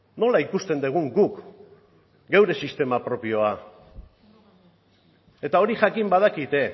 nola ikusten dugun guk geure sistema propioa eta hori jakin badakite